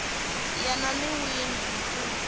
yena n wini hi ku